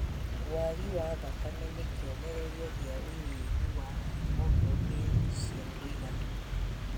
Wagi wa thakame nĩ kĩonereria gĩa ũnyihu wa haemoglobin cia kũigana